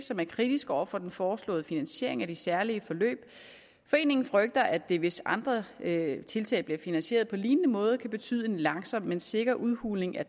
som er kritiske over for den foreslåede finansiering af de særlige forløb foreningen frygter at det hvis andre tiltag bliver finansieret på lignende måde kan betyde en langsom men sikker udhuling af